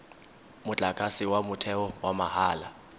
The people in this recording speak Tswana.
motlakase wa motheo wa mahala